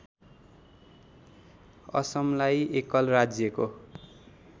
असमलाई एकल राज्यको